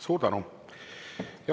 Suur tänu!